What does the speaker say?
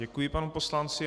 Děkuji panu poslanci.